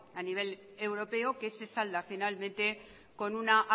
a nivel europeo que se salda finalmente con una